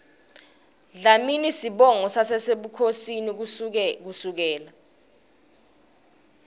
dlamini sibongo sasebukhosini kusukela